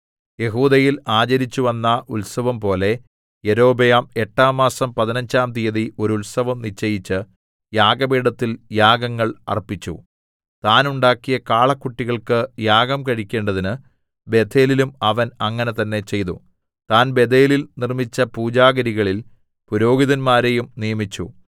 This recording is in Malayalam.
യെഹൂദയിൽ ആചരിച്ചുവന്ന ഉത്സവംപോലെ യൊരോബെയാം എട്ടാം മാസം പതിനഞ്ചാം തിയ്യതി ഒരു ഉത്സവം നിശ്ചയിച്ച് യാഗപീഠത്തിൽ യാഗങ്ങൾ അർപ്പിച്ചു താൻ ഉണ്ടാക്കിയ കാളക്കുട്ടികൾക്ക് യാഗം കഴിക്കേണ്ടതിന് ബേഥേലിലും അവൻ അങ്ങനെ തന്നേ ചെയ്തു താൻ ബേഥേലിൽ നിർമ്മിച്ച പൂജാഗിരികളിൽ പുരോഹിതന്മാരേയും നിയമിച്ചു